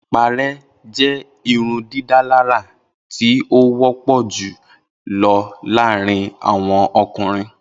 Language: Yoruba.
Ipare jẹ irundidalara ti o wọpọ julọ laarin awọn ọkunrin.